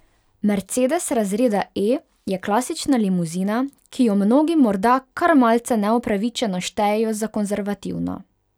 Mercedes razreda E je klasična limuzina, ki jo mnogi morda kar malce neupravičeno štejejo za konservativno.